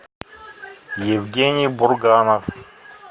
евгений бурганов